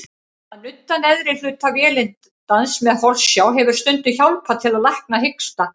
Að nudda neðri hluta vélindans með holsjá hefur stundum hjálpað til að lækna hiksta.